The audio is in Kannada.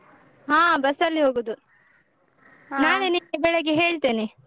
ಹಾ bus ಅಲ್ಲಿ ಹೋಗುದು. ನಾಳೆ ನಿನ್ಗೆ ಬೆಳಗ್ಗೆ ಹೇಳ್ತೇನೆ.